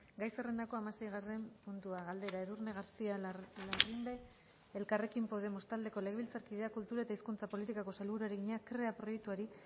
gai zerrendako hamaseigarren puntua galdera edurne garcía larrimbe elkarrekin podemos taldeko legebiltzarkideak kultura eta hizkuntza politikako sailburuari egina krea proiektuari